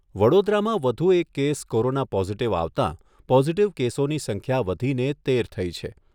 વડોદરામાં વધુ એક કેસ કોરોના પોઝિટિવ આવતા પોઝિટિવ કેસોની સંખ્યા વધીને તેર થઈ છે.